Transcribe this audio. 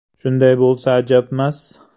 “Shunday bo‘lsa ajabmas.